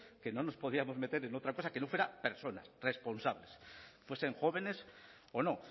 que no nos podíamos meter en otra cosa que no fuera personas responsables fuesen jóvenes o no